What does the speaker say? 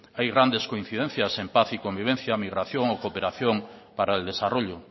hay grandes coincidencias en paz y convivencia migración o cooperación para el desarrollo